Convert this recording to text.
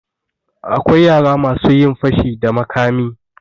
Akwai yara masu yin fashi da makami.